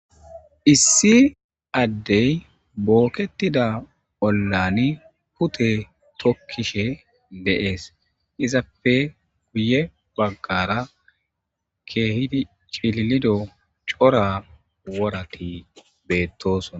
issi addey booketida bollani pute tokkishe deees izapfe guye baggara keehidi cililido cora worati beettosona